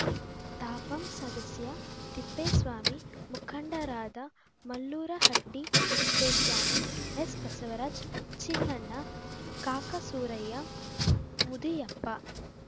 ತಾಪಂ ಸದಸ್ಯ ತಿಪ್ಪೇಸ್ವಾಮಿ ಮುಖಂಡರಾದ ಮಲ್ಲೂರಹಟ್ಟಿತಿಪ್ಪೇಸ್ವಾಮಿ ಎಸ್‌ಬಸವರಾಜ್‌ ಚಿನ್ನಣ್ಣ ಕಾಕಸೂರಯ್ಯ ಮುದಿಯಪ್ಪ